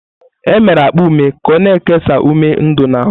E mere akpa ume ka o-na ekesa ume ndu n'ahụ.